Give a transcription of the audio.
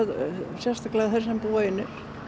sérstaklega þeir sem búa einir